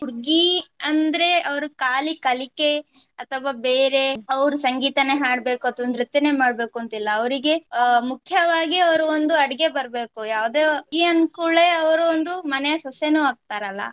ಹುಡ್ಗಿ ಅಂದ್ರೆ ಅವ್ರು ಕಾಲಿ ಕಲಿಕೆ ಅಥವಾ ಬೇರೆ ಅವ್ರು ಸಂಗೀತನೇ ಹಾಡ್ಬೇಕು ಅಥವಾ ನೃತ್ಯನೇ ಮಾಡ್ಬೇಕು ಅಂತಿಲ್ಲ ಅವರಿಗೆ ಅಹ್ ಮುಖ್ಯವಾಗಿ ಅವ್ರು ಒಂದು ಅಡಿಗೆ ಬರ್ಬೇಕು ಯಾವುದೇ ಹುಡ್ಗಿ ಅಂದ್ಕೂಡ್ಲೆ ಅವ್ರು ಒಂದು ಮನೆಯ ಸೊಸೆನು ಆಗ್ತರಲ್ಲ.